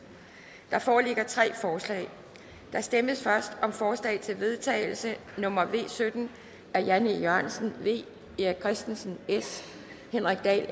der foreligger tre forslag der stemmes først om forslag til vedtagelse nummer v sytten af jan e jørgensen erik christensen henrik dahl